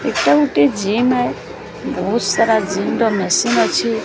ଏଟା ଗୋଟିଏ ଜିମ୍ ଆଏ। ବୋହୁତ ସାରା ଜିମ୍ ର ମେସିନ୍ ଅଛି।